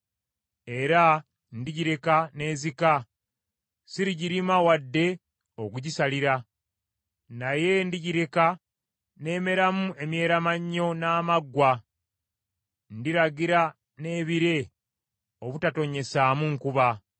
Era ndigireka n’ezika, sirigirima wadde okugisalira. Naye ndigireka n’emeramu emyeeramannyo n’amaggwa. Ndiragira n’ebire obutatonnyesaamu nkuba.